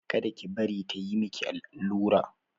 Kada ki bari ta yi maki allura!